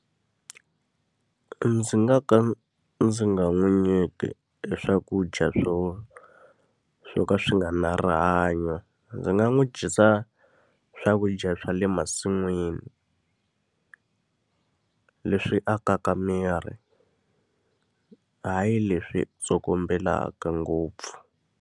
Ndzi nga ka ndzi nga n'wi nyiki e swakudya swo swo ka swi nga ri na rihanyo. Ndzi nga n'wi dyisa swakudya swa le masin'wini leswi akaka miri. Hayi leswi tsokombelaka ngopfu.